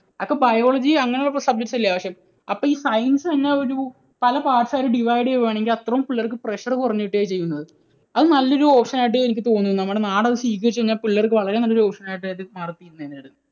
അയാൾക്ക് biology അങ്ങനെയുള്ള subjects അല്ലെ ആവശ്യം? അപ്പോൾ ഈ science തന്നെ ഒരു പല parts ആയിട്ട് divide ചെയ്യുകയാണെങ്കിൽ അത്രയും പിള്ളേർക്ക് pressure കുറഞ്ഞു കിട്ടുകയാണ് ചെയ്യുന്നത്. അത് നല്ലൊരു option ആയിട്ട് എനിക്ക് തോന്നുന്നു. നമ്മുടെ നാട് അത് സ്വീകരിച്ചു കഴിഞ്ഞാൽ പിള്ളേർക്ക് വളരെ നല്ലൊരു option ആയിട്ട് അത് മാറും.